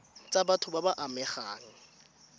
tsa batho ba ba amegang